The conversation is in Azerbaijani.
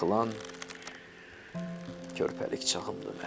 Yıxılan körpəlik çağımdır mənim.